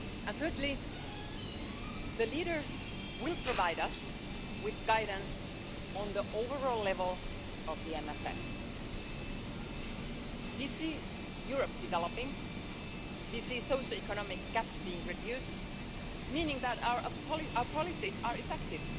Thirdly, the leaders will provide us with guidance on the overall level of the MFF. We see Europe developing and we see socioeconomic gaps being reduced, meaning that are our policies are effective.